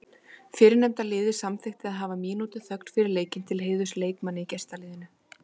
Fyrrnefnda liðið samþykkti að hafa mínútu þögn fyrir leikinn til heiðurs leikmanni í gestaliðinu.